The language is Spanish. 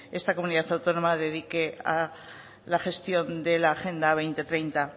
esta comunidad autónoma dedique a la gestión de la agenda dos mil treinta